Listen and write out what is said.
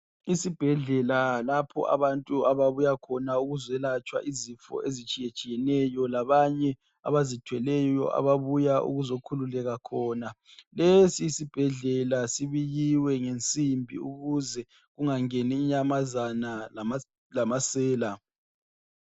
Isibhedlela lapho abantu ababuya khona ukuzolatshwa izifo ezitshiyetshiyeneyo labanye abazithweleyo ababuya ukuzokhululeka khona lezi zibhedlela zibiyiwe ngensimbi ukuze kungangeni inyamazana lamasela